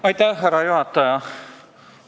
Aitäh, härra juhataja!